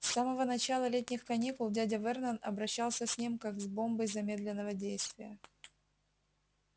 с самого начала летних каникул дядя вернон обращался с ним как с бомбой замедленного действия